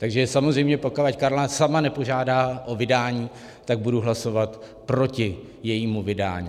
Takže samozřejmě pokud Karla sama nepožádá o vydání, tak budu hlasovat proti jejímu vydání.